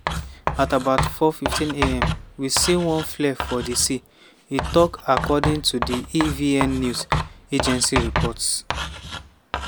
"at about 4:15:am we see one flare for di sea" e tok according to di evn news agency reports.